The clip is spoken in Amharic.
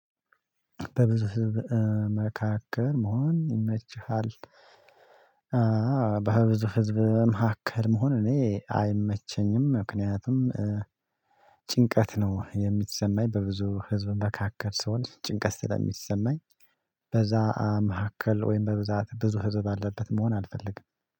በብዙ ህዝብ መካከል መሆን ይመችሃል? በብዙ ህዝብ መካከል መሆን እኔ አይመቸኝም። ምክንያቱም ጭንቀት ነው የሚሰማኝ በብዙ ህዝብ መካከል ሰውን ጭንቀት ስለሚሰማኝ። በዛ መካከል ወይም በብዛት ብዙ ህዝብ አለበት መሆን አልፈልግም።